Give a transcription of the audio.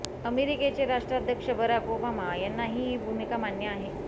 अमेरिकेचे राष्ट्राध्यक्ष Barack Obama यांनाही ही भूमिका मान्य आहे